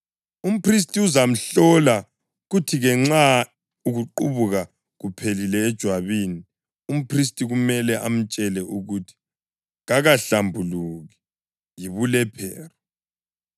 Umphristi uzamhlola, kuthi-ke nxa ukuqubuka kuqhelile ejwabini, umphristi kumele amtshele ukuthi kakahlambuluki; yibulephero.